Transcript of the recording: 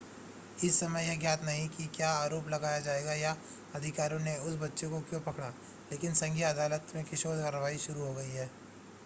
इस समय यह ज्ञात नहीं है कि क्या आरोप लगाया जाएगा या अधिकारियों ने उस बच्चे को क्यों पकड़ा लेकिन संघीय अदालत में किशोर कार्यवाही शुरू हो गई है